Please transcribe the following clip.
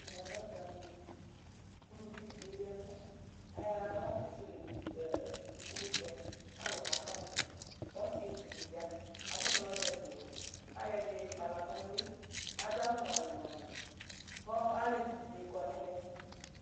Ɛmɛ lɛ ɔdzanɩnu kʋ uluvi dɩ keyi ɛkʋ kʋ ayɔ aɣla kekele nu ɛ ɛ nukunusɛ kʋ alʋ kakɔsʋ kʋ ɔsɩetsu dɩ ya kʋ adʋ traɔzɛsɩwɛ kʋ ayɔ ɛdɩnɩ kpala nʋ ʋlɩ kʋ adʋ awʋ ŋʋalɩ-ŋʋalɩ kʋ ɔ alevi dɩnɩ kɔ nʋ ɛmɛ